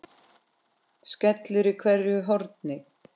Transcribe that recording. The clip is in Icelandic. skellur í hverju horni.